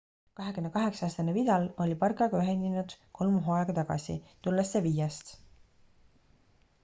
28-aastane vidal oli barcaga ühinenud kolm hooaega tagasi tulles sevillast